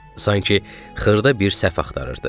Sanki xırda bir səhv axtarırdı.